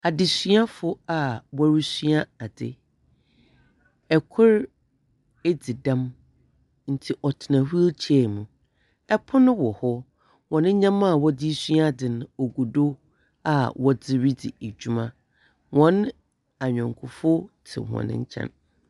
Adesuafo a wɔresua ade. Kor edzi dɛm nti ɔtsena wheel chair mu. Ɛpon wɔ hɔ, ntsi hɔn nyɛma a wɔresua adze no ogu do a wɔdze redzi dwuma. Wɔn anyɔkofo tse hɔn nkyɛn.